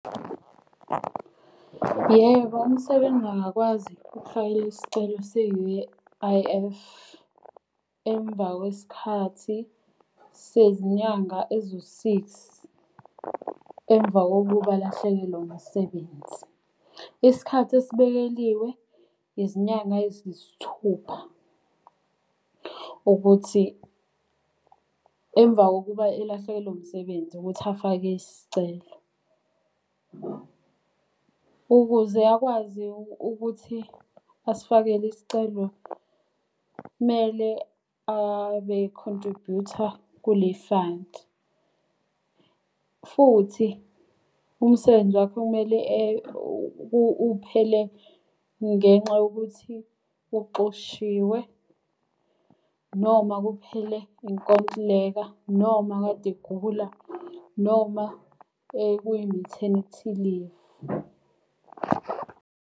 Yebo, umsebenzi angakwazi ukufakela isicelo se-U_I_F, emva kwesikhathi sezinyanga eziwu six emva kokuba alahlekelwe umsebenzi. Isikhathi esibekeliwe izinyanga eziyisithupha, ukuthi emva kokuba elahlekelo umsebenzi ukuthi afake isicelo. Ukuze akwazi ukuthi asifakele isicelo kumele abe i-contribute-a kule fund. Futhi umsebenzi wakhe kumele uphele ngenxa yokuthi uxoshiwe, noma kuphele inkontileka, noma kade egula, noma kuyi-maternity leave.